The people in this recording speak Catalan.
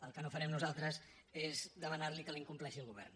el que no farem nosaltres és demanar li que la incompleixi el govern